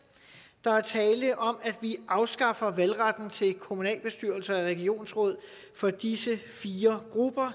der er tale om at vi afskaffer valgretten til kommunalbestyrelser og regionsråd for disse fire grupper og